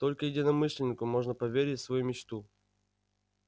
только единомышленнику можно поверить свою мечту